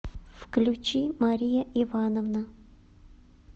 включи мария ивановна